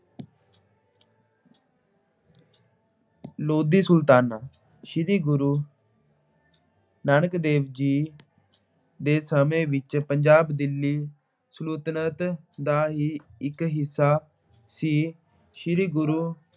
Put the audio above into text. ਲੋਧੀ ਸੁਲਤਾਨ। ਸ੍ਰੀ ਗੁਰੂ ਨਾਨਕ ਦੇਵ ਜੀ ਦੇ ਸਮੈਂ ਵਿੱਚ ਪੰਜਾਬ ਦਿੱਲੀ ਸਲਤਨਤ ਦਾ ਹੀ ਇੱਕ ਹਿੱਸਾ ਸੀ। ਸ੍ਰੀ ਗੁਰੂ